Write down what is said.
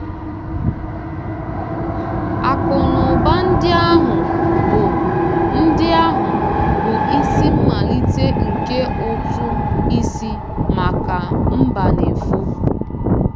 Akụnụba ndị ahụ bụ ndị ahụ bụ isi mmalite nke ụtụ isi maka Mbanefo.